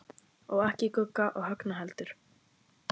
Og ekki Gugga og Högna heldur.